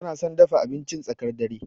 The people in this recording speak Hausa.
Tana son dafa abincin tsakar dare.